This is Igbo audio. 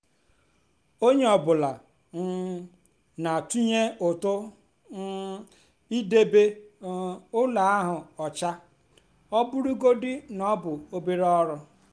onye ọ bụla um na-atụnye ụtụ um n'idebe um ụlọ ahụ ọcha ọ bụrụgodị na ọ bụ obere ọrụ.